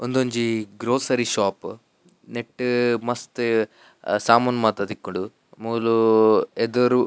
ಉಂದೊಂಜಿ grocery shop ನೆಟ್ಟ್ ಮಸ್ತ್ ಸಾಮಾನ್ ಮಾತ ತಿಕ್ಕುಂಡು ಮೂಲು ಎದುರು.